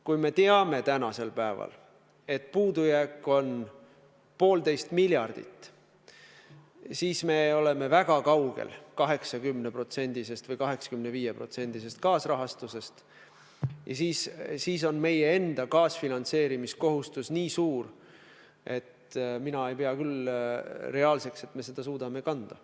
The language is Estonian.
Kui me teame tänasel päeval, et puudujääk on 1,5 miljardit, siis me oleme väga kaugel 80%-sest või 85%-sest kaasrahastusest ja siis on meie enda kaasfinantseerimise kohustus nii suur, et mina ei pea küll reaalseks, et me seda suudame kanda.